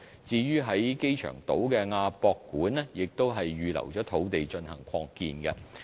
至於在機場島的亞洲國際博覽館亦已預留土地進行擴建。